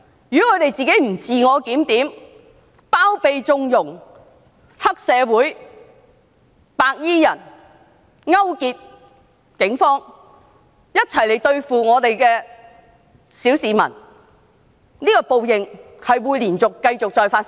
如果保皇黨不自我檢討，繼續包庇、縱容黑社會和白衣人，勾結警方一起對付小市民，報應將會繼續再發生。